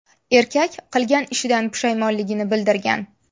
Erkak qilgan ishidan pushaymonligini bildirgan.